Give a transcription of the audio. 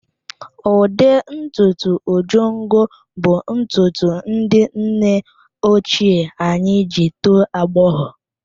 Ụdị ntutu Ojongo bụ ntutu ndị nne ochie anyị ji tọọ agbọghọ.